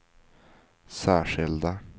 särskilda